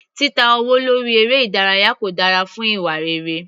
Títa owó lórí eré ìdárayá kò dára fún ìwà rere.